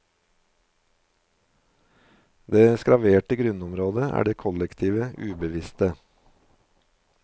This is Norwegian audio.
Det skraverte grunnområdet er det kollektive ubevisste.